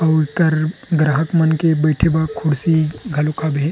अउ एकर ग्राहक मन के बैठे बर कुर्सी घलोक हाबे हे।